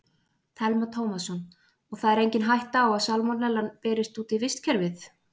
Telma Tómasson: Og það er engin hætta á að salmonellan berist út í vistkerfið?